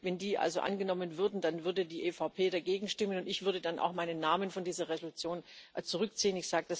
Wenn die also angenommen würden, dann würde die EVP dagegen stimmen, und ich würde dann auch meinen Namen von dieser Entschließung zurückziehen.